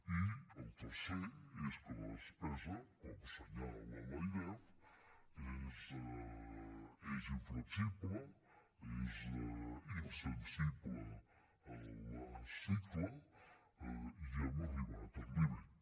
i el tercer és que la despesa com assenyala l’airef és inflexible és insensible al cicle i hem arribat al límit